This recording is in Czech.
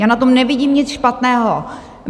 Já na tom nevidím nic špatného.